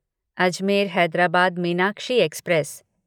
Ajmer Hyderabad Meenakshi express